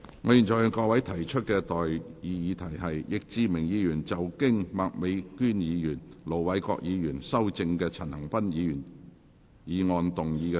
我現在向各位提出的待議議題是：易志明議員就經麥美娟議員及盧偉國議員修正的陳恒鑌議員議案動議的修正案，予以通過。